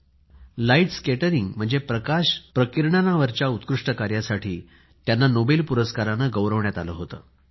त्यांना light scattering म्हणजे प्रकाश प्रकीर्णनावरच्या उत्कृष्ट कार्यासाठी नोबेल पुरस्काराने गौरवण्यात आले होते